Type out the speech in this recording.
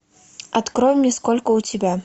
открой мне сколько у тебя